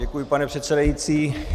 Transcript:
Děkuji, pane předsedající.